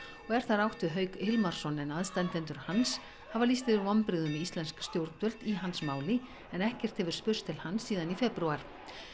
þar er átt við Hauk Hilmarsson en aðstandendur hans hafa lýst yfir vonbrigðum með íslensk stjórnvöld í hans máli ekkert hefur spurst til hans síðan í febrúar